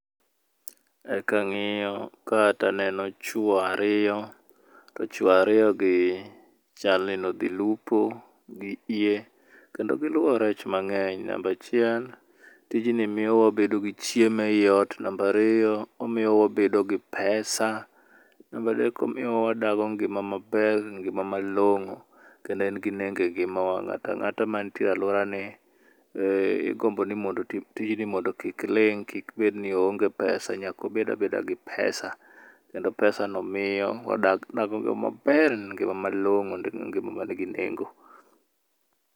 Kang'iyo ka taneno chuo ariyo, to chuo ariyo gi chalni nodhi lupo gi yie kendo giluwo rech mang'eny. Namba achiel tij nii miyo wabedo gi chiemo ei ot, namba ariyo omiyo wabedo gi pesa ,namba adek omiyo wadago ngima maber ngima malong'o kendo en gi nengo e ngimawa, ng'ata ng'ata mantie e aluorani igombo ni mondo otii tijni mondo kik ling kik bed ni oonge pesa nyako bedabeda gi pesa, kendo pesa no miyo wadago ngima maber ngima malong'o ngima man gi nengo.